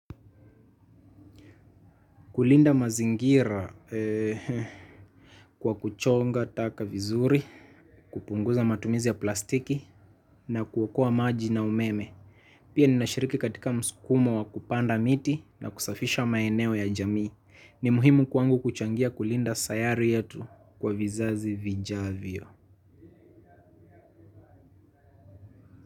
Kulinda mazingira, kwa kuchonga taka vizuri, kupunguza matumizi ya plastiki na kuokoa maji na umeme. Pia ninashiriki katika mskumo wa kupanda miti na kusafisha maeneo ya jamii. Ni muhimu kwangu kuchangia kulinda sayari yetu, kwa vizazi vijavyo.